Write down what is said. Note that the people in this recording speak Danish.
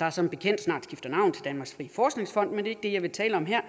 der som bekendt snart skifter navn til danmarks frie forskningsfond men ikke det jeg vil tale om her